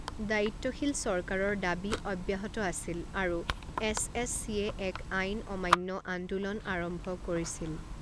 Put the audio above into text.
দায়িত্বশীল চৰকাৰৰ দাবী অব্যাহত আছিল আৰু এছ এছ চিয়ে এক আইন অমান্য আন্দোলন আৰম্ভ কৰিছিল।